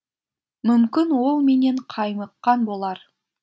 мүмкін ол менен қаймыққан болар